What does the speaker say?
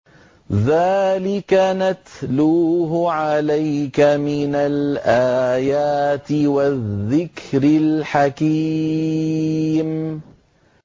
ذَٰلِكَ نَتْلُوهُ عَلَيْكَ مِنَ الْآيَاتِ وَالذِّكْرِ الْحَكِيمِ